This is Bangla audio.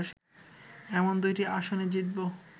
এমন দুইটি আসনে জিতব